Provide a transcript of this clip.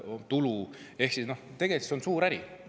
Tegelikult on see suur äri.